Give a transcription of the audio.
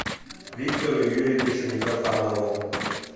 виктору юрьевичу митрофанову